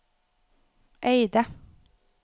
Eidet